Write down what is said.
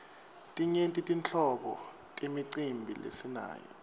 timyenti tinhlobo temicimbi lesinayo